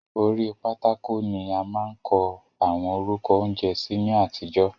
Orí pátákò ni a máa ń kọ àwọn orúkọ oúnjẹ sí ní àtijọ́.